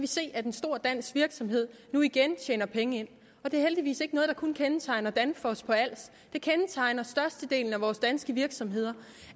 se at en stor dansk virksomhed nu igen tjener penge ind og det er heldigvis ikke noget der kun kendetegner danfoss på als det kendetegner størstedelen af vores danske virksomheder